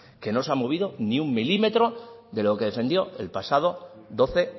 que no se ha movido ni un milímetro de lo que defendió el pasado doce